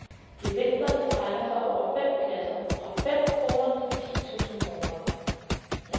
Gevinsterne strækker sig over fem klasser fra fem kroner til ti tusind kroner.